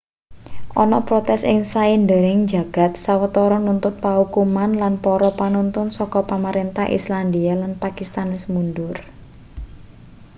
ana protes ing saindenging jagad sawetara nuntut paukuman lan para panuntun saka pamarentah islandia lan pakistan wis mundur